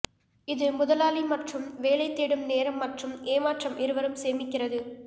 இது முதலாளி மற்றும் வேலை தேடும் நேரம் மற்றும் ஏமாற்றம் இருவரும் சேமிக்கிறது